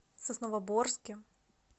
сосновоборске